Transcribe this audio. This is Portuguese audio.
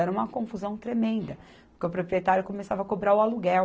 Era uma confusão tremenda, porque o proprietário começava a cobrar o aluguel.